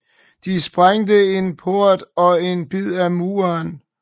De sprængte en port og en bid af muren